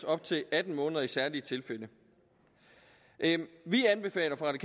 op til atten måneder i særlige tilfælde vi anbefaler fra det